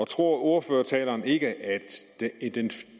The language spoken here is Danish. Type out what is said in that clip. tror ordføreren ikke at